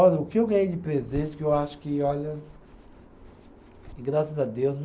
Olha, o que eu ganhei de presente que eu acho que, olha. E graças a Deus